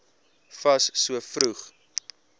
fas so vroeg